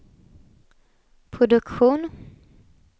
produktion